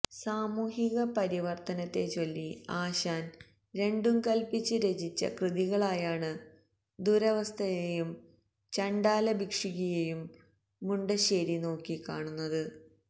സാമൂഹിക പരിവര്ത്തനത്തെച്ചൊല്ലി ആശാന് രണ്ടും കല്പ്പിച്ച് രചിച്ച കൃതികളായാണ് ദുരവസ്ഥയെയും ചണ്ഡാല ഭിക്ഷുകിയെയും മുണ്ടശ്ശേരി നോക്കിക്കാണുന്നത്